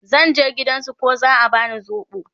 zan je gidan su ko za'a bani sobo